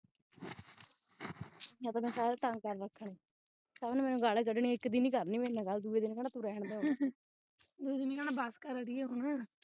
ਇਹਾਂ ਤੇ ਮੈਂ ਸਾਰਿਆਂ ਨੂੰ ਤੰਗ ਕਰ ਰਖਿਆ ਸਭ ਨੇ ਮੈਨੂੰ ਗਾਲਾਂ ਹੀ ਕਢਣੀਆਂ ਇਕ ਦਿਨ ਹੀ ਕਰਨੀ ਮੇਰੇ ਨਾਲ ਗਲ ਦੂਏ ਦਿਨ ਕਹਿਣਾ ਤੂੰ ਰਹਿਣ ਦੇ